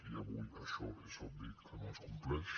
i avui això és obvi que no es compleix